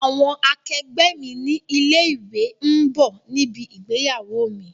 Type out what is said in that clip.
Àwọn àkẹgbẹ́ mi ní ilé ìwé ń bọ̀ níbi ìgbéyàwó mi.